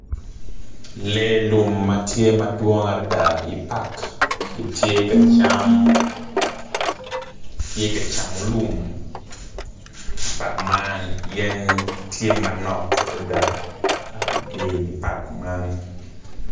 Lee lum ma tye madwong adida i pak gitye ka cam tye ka camo lum pak man yen tye manok adada i di pak man